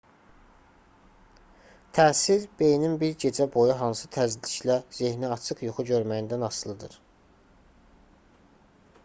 təsir beyinin bir gecə boyu hansı tezliklə zehniaçıq yuxu görməyindən asılıdır